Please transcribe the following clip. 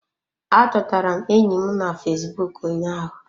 A chọtara m enyi m na Fesbụụk ụnyaahu